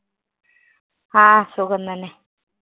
ആ സുഖം തന്നെ.